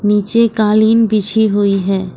नीचे कालीन बिछी हुई है।